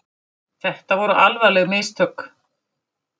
Þetta voru alvarleg mistök